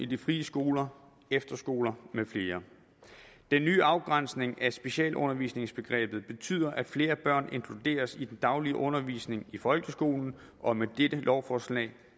de frie skoler efterskoler med flere den nye afgrænsning af specialundervisningsbegrebet betyder at flere børn inkluderes i den daglige undervisning i folkeskolen og med dette lovforslag